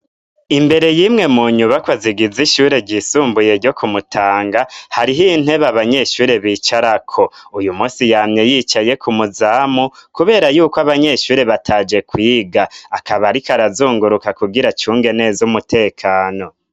Imbere y'imwe mu nyubako zigiza ishure ryisumbuye ryo kumutanga hariho intebe abanyeshuri bicara ko uyu munsi yamye yicaye ko umuzamu kubera yuko abanyeshuri bataje kwiga, akaba ariko arazunguruka kugira acunge neza umutekano.